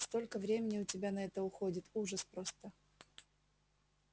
столько времени у тебя на это уходит ужас просто